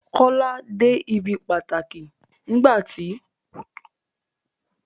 Kọ́lá dé ibi pàtàkì nígbà tó kọ̀wé ọ̀kan-dín-ní-ojì dín ní ẹ̀ẹ́dẹ́gbẹ́rún